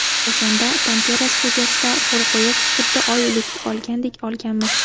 O‘shanda ‘Panterra’ studiyasida qo‘l qo‘yib, xuddi oylik olgandek olganmiz.